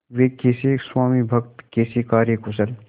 वे कैसे स्वामिभक्त कैसे कार्यकुशल